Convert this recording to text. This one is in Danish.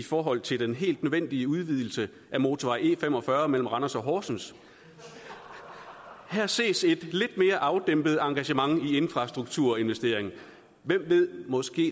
forhold til den helt nødvendige udvidelse af motorvej e45 mellem randers og horsens her ses et lidt mere afdæmpet engagement i infrastrukturinvestering hvem ved måske